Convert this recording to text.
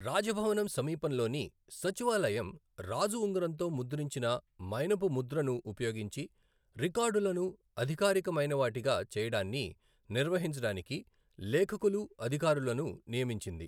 రాజభవనం సమీపంలోని సచివాలయం రాజు ఉంగరంతో ముద్రించిన మైనపు ముద్రను ఉపయోగించి రికార్డులను అధికారికమైనవాటిగా చేయడాన్ని నిర్వహించడానికి లేఖకులు, అధికారులను నియమించింది.